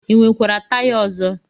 I nwekwara taya ọzọ?